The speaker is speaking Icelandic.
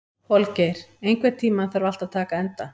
Holgeir, einhvern tímann þarf allt að taka enda.